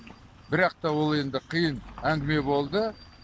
бірақ та ол енді қиын әңгіме болды